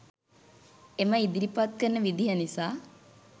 එම ඉදිරිපත් කරන විදිහ නිසා.